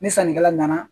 Ni sannikɛla nana